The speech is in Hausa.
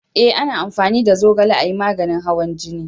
A na amfani da zogale a yi maganin hawan jini